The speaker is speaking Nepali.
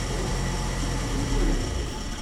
ओह, यो धेरै उपयोगी हुनेछ।